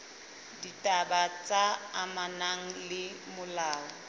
ditaba tse amanang le molao